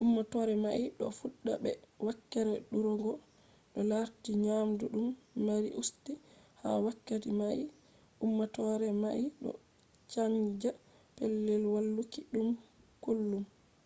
ummatore mai do fudda be wakkere durugo to larti nyamdu dum mari usti. ha wakkati mai ummatore mai do canza pellel waluki dum kullum